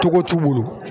Togo t'u bolo